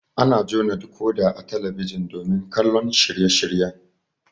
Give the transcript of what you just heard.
Ana jona dikoda a talabijin domin kallon shirye shiryen